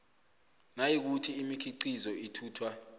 nayikuthi imikhiqizo ithuthwa